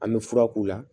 An bɛ fura k'u la